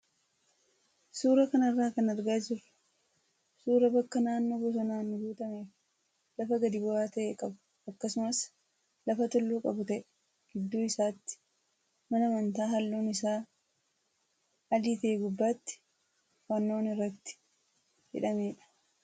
Suuraa kanarraa kan argaa jirru suuraa bakka naannoo bosonaan guutamee fi lafa gadi bu'aa ta'e qabu akkasumas lafa tulluu qabu ta'ee gidduu isaatti mana amantaa halluun isaa adii ta'ee gubbaatti fannoon irratti hidhamedha.